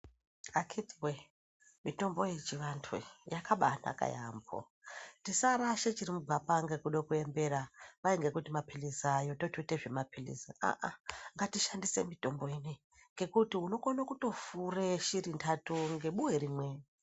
Akhitiwee, mitombo yechivantu yakabaanaka yaambo. Tisarasha chiri mugwapa ngekuda kuembera, kwai ngekuti maphirizi aayo totoite zvemaphirizi. Aah aah ngatishandise mitombo ineyi ngekuti unokone kutofure shiri ntatu ngebuwe rimwe.